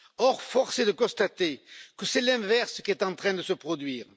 Or force est de constater que c'est l'inverse qui est en train de se produire.